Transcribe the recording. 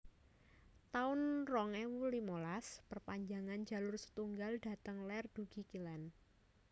taun rong ewu limolas perpanjangan Jalur setunggal dhateng lér dugi kilen